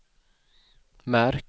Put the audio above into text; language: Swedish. märk